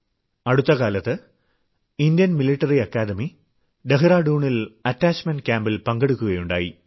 അടുത്ത കാലത്ത് Indian military academy ഡഹ്റാഡൂണിൽ അറ്റാച്ച്മെന്റ് ക്യാമ്പിൽ പങ്കെടുക്കുകയുണ്ടായി